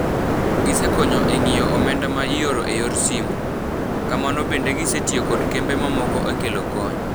Gisekonyo e ng'io omenda ma ioro eyor simo. Kama bende gisetio kod kembe mamoko e kelo kony.